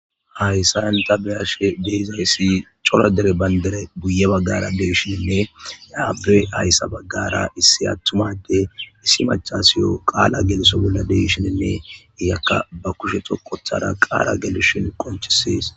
hayssa yanta be ashe deizayssi cola dere bayndere buye baggara deeshinne abe ayssa baggara issi attumade issi machasiyo qaala geliso bolla deeshininne iyakka ba kushe to kothara qaala gelushin qonchisees